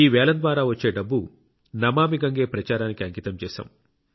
ఈ వేలం ద్వారా వచ్చే డబ్బు నమామి గంగే ప్రచారానికి అంకితం చేశాం